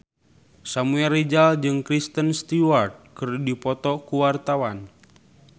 Samuel Rizal jeung Kristen Stewart keur dipoto ku wartawan